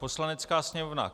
Poslanecká sněmovna: